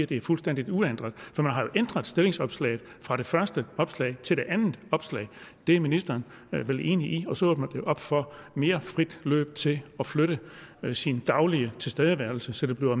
det er fuldstændig uændret for man har jo ændret stillingsopslaget fra det første opslag til det andet opslag det er ministeren vel enig i og så åbner det op for mere frit løb til at flytte sin daglige tilstedeværelse så det bliver